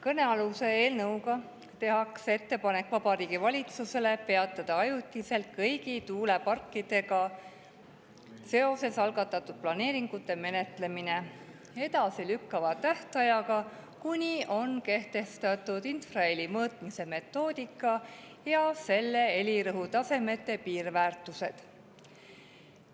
Kõnealuse eelnõuga tehakse Vabariigi Valitsusele ettepanek peatada ajutiselt kõigi tuuleparkidega seoses algatatud planeeringute menetlemine, edasilükkava tähtajaga, kuni on kehtestatud infraheli mõõtmiste metoodika ja selle helirõhutasemete piirväärtused.